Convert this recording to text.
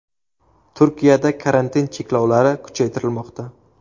Turkiyada karantin cheklovlari kuchaytirilmoqda.